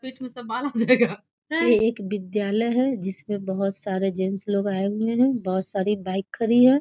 पेट में सब बाल आ जायेगा | ये एक विद्यालय है जिसमे बहुत सारे जेन्स लोग आये हुए हैं बहुत सारी बाइक खड़ी है ।